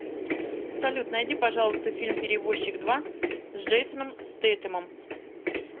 салют найди пожалуйста фильм перевозчик два с джейсоном стейтемом